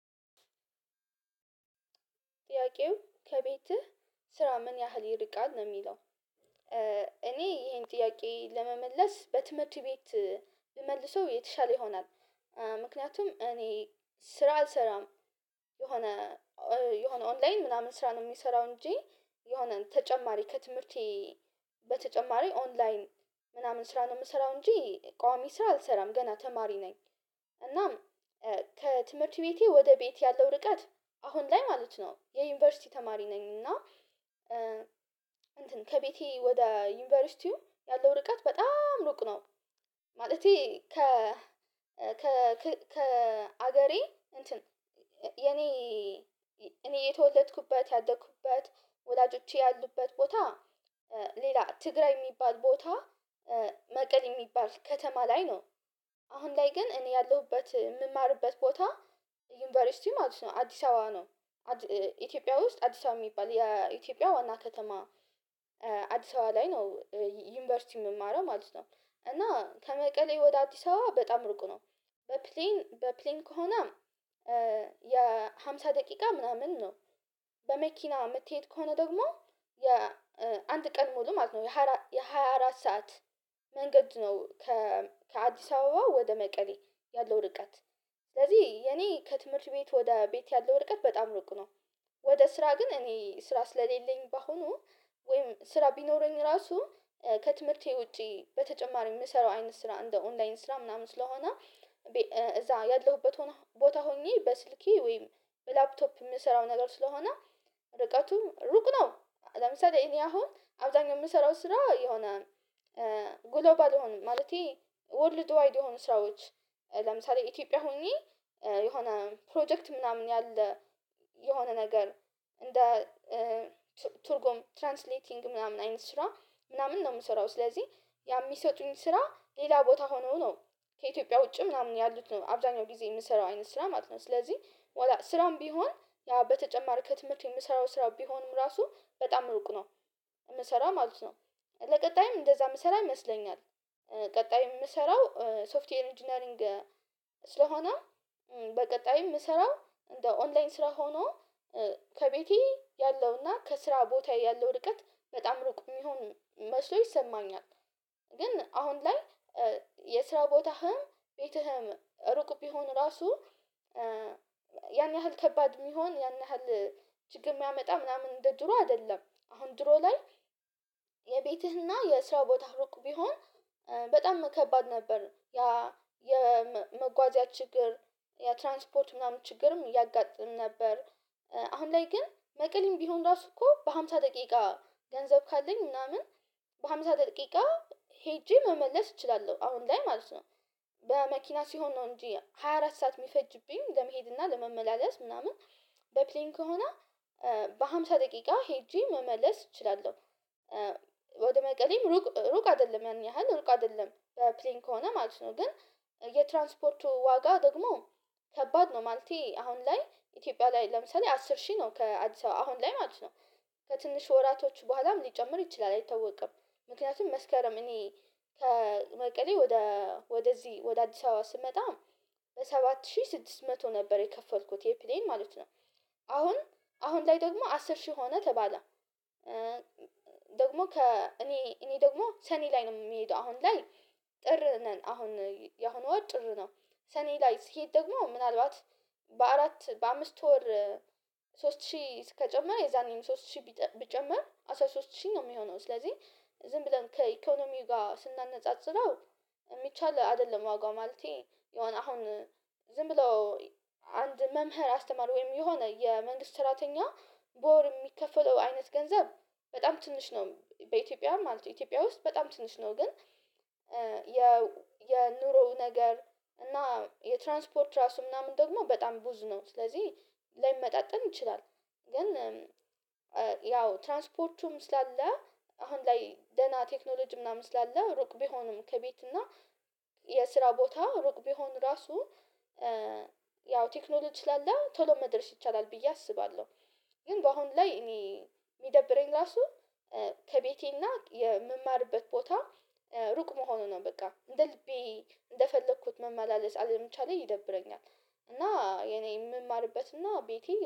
ጥያቄው ከቤትህ ስራ ምን ያህል ይርቃል ነው የሚለው? እኔ ይሄን ጥያቄ ለመመለስ በትምህርት ቤት ብመልሰው የተሻለ ይሆናል። ምክንያቱም እኔ ስራ አልሰራም የሆነ የሆነ ኦንላይን ምናምን ስራ ነው የምሰራው እንጂ የሆነ ተጨማሪ ከትምህርቴ በተጨማሪ ኦንላይን ምናምን ስራ ነው የምሰራው እንጂ ቋሚ ስራ አልሰራም ገና ተማሪ ነኝ። እናም ከትምህርት ቤቴ ወደ ቤት ያለው ርቀት አሁን ላይ ማለት ነው የዩኒቨርሲቲ ተማሪ ነኝ እና እንትን ከቤቴ ወደ ዩኒቨርሲቲው ያለው ርቀት በጣም ሩቅ ነው። ማለቴ ከ ከ ከ ከሀገሬ እንትን የኔ እኔ የተወለድኩበት ያደኩበት ወላጆች ያሉበት ቦታ ሌላ ትግራይ የሚባል ቦታ መቀሌ የሚባል ከተማ ላይ ነው። አሁን ላይ ግን እኔ ያለሁበት የምማርበት ቦታ ዩኒቨርሲቲ ማለት ነው አዲስ አበባ ነው። ኢትዮጵያ ውስጥ አዲስ አበባ የሚባል የኢትዮጵያ ዋና ከተማ አዲስ አበባ ላይ ነው። ዩኒቨርሲቲ የምማረው ማለት ነው እና ከመቀሌ ወደ አዲስ አበባ በጣም ሩቅ ነው። በፕሌን በፕሌን ከሆነ የሃምሳ ደቂቃ ምናምን ነው በመኪና መትሄድ ከሆነ ደግሞ የአንድ ቀን ሙሉ ማለት ነው የሃያ አራት ሰዓት መንገድ ነው። ከአዲስ አበባ ወደ መቀሌ ያለው ርቀት ስለዚህ የኔ ከትምህርት ቤት ወደ ቤት ያለው ርቀት በጣም ሩቅ ነው። ወደ ስራ ግን እኔ ስራ ስለሌለኝ በአሁኑ ወይም ስራ ቢኖረኝ ራሱ ከትምህርቴ ውጪ በተጨማሪ የምሰራው አይነት ስራ እንደ ኦንላይን ስራ ምናምን ስለሆነ እዛ ያለሁበት ሆኖ ቦታ ሆኜ በስልኬ ወይም በላፕቶፕ የምሰራው ነገር ስለሆነ ርቀቱ ሩቅ ነው። ለምሳሌ እኔ አሁን አብዛኛው የምሰራው ስራ የሆነ ግሎባል የሆነ ማለቴ ወርልድ ዋይድ የሆኑ ስራዎች ለምሳሌ ኢትዮጵያ ሁኚ የሆነ ፕሮጀክት ምናምን ያለ የሆነ ነገር እንደ ቱርጎም ትራንስሌቲንግ ምናምን አይነት ስራ ምናምን ነው የምሰራው ስለዚህ ያ የሚሰጡኝ ስራ ሌላ ቦታ ሆኖ ነው ከኢትዮጵያ ውጪ ምናምን ያሉት ነው አብዛኛው ጊዜ የምሰራው አይነት ስራ ማለት ነው ስለዚህ። ስራም ቢሆን በተጨማር ከትምህርት የምሰራው ስራው ቢሆንም ራሱ በጣም ሩቅ ነው። የምሰራ ማለት ነው ለቀጣይም እንደዛ የምሰራ ይመስለኛል ቀጣይ የምሰራው ሶፍትዌር ኢንጂነሪንግ ስለሆነ በቀጣይ የምሰራው እንደ ኦንላይን ስራ ሆኖ ከቤቴ ያለውና ከስራ ቦታ ያለው ርቀት በጣም ሩቅ የሚሆን መስሎ ይሰማኛል። ግን አሁን ላይ የስራ ቦታህም ቤትህም ሩቅ ቢሆን ራሱ ያን ያህል ከባድ የሚሆን ያን ያህል ችግር የሚያመጣ ምናምን እንደ ድሮ አይደለም አሁን ድሮ ላይ የቤትህና የስራ ቦታ ሩቅ ቢሆን በጣም ከባድ ነበር ያ የመጓዝ ችግር የትራንስፖርት ምናምን ችግርም ያጋጥም ነበር። አሁን ላይ ግን መቀሌም ቢሆን ራሱ እኮ በሃምሳ ደቂቃ ገንዘብ ካለኝ ምናምን በሃምሳ ደቂቃ ሄጄ መመለስ እችላለሁ አሁን ላይ ማለት ነው። በመኪና ሲሆን ነው እንጂ ሃያ አራት ሰዓት የሚፈጅብኝ ለመሄድ እና ለመመላለስ ምናምን በፕሌን ከሆነ በሃምሳ ደቂቃ ሄጄ መመለስ እችላለሁ። ወደ መቀሌም ሩቅ ሩቅ አይደለም ያን ያህል ሩቅ አይደለም ፕሌን ከሆነ ማለት ነው ግን የትራንስፖርቱ ዋጋ ደግሞ ከባድ ነው። ማለቴ አሁን ላይ ኢትዮጵያ ላይ ለምሳሌ አስር ሺህ ነው ከአዲስ አበባ አሁን ላይ ማለት ነው ከትንሽ ወራቶች በኋላም ሊጨምር ይችላል አይታወቅም። ምክንያቱም መስከረም እኔ ከመቀሌ ወደ ወደዚህ ወደ አዲስ አበባ ስመጣ በሰባት ሺህ ስድስት መቶ ነበር የከፈልኩት የፕሌይን ማለት ነው። አሁን አሁን ላይ ደግሞ አስር ሺህ ሆኖ ተባለ ደግሞ ከ እኔ እኔ ደግሞ ሰኔ ላይ ነው የምሄደው አሁን ላይ ጥር ነን አሁን ያሁኑ ወጥ ጥር ነው ሰኔ ላይ ስሄድ ደግሞ ምናልባት በአራት በአምስት ወር ሶስት ሺህ ከጨመረ የዛኔም ሶስት ሺህ ቢጨመር አስራ ሶስት ሺህ ነው የሚሆነው ስለዚህ። ዝም ብለን ከኢኮኖሚው ጋር ስናነጻጽረው የሚቻል አይደለም ዋጋው ማለቴ የሆነ አሁን ብሎ አንድ መምህር አስተማረ ወይም የሆነ የመንግስት ስራተኛ በወር የሚከፍለው አይነት ገንዘብ በጣም ትንሽ ነው በኢትዮጵያ ማለት ነው። ኢትዮጵያ ውስጥ በጣም ትንሽ ነው ግን የ የኑሮው ነገር እና የትራንስፖርት ራሱ ምናምን ደግሞ በጣም ብዙ ነው ስለዚህ ላይመጣጥን ይችላል። ግን ያው ትራንስፖርቱም ስላለ አሁን ላይ ደህና ቴክኖሎጂ ምናምን ስላለ ሩቅ ቢሆንም ከቤት እና የስራ ቦታ ሩቅ ቢሆን ራሱ ያው ቴክኖሎጂ ስላለ ቶሎ መድረስ ይቻላል ብዬ አስባለሁ። ግን በአሁን ላይ እኔ የሚደብረኝ ራሱ ከቤቴና የምማርበት ቦታ ሩቅ መሆኑ ነው በቃ እንደ ልቤ እንደፈለኩት መመላለስ አለምቻሌ ይደብረኛል። እና የኔ የምማርበት እና ቤቴ